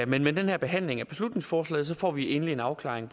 men med den her behandling af beslutningsforslaget får vi endeligt en afklaring